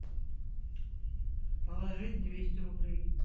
положить двести рублей